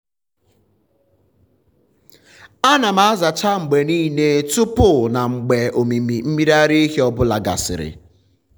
ana m azacha mgbe niile tupu na mgbe ọmịmị mmiri ara ehi ọ bụla gasịrị.